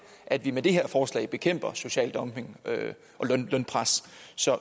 at vi med det her forslag bekæmper social dumping og lønpres